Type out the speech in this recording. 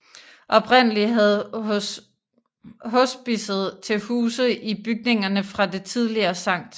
Oprindelig havde hospicet til huse i bygningerne fra det tidligere Sct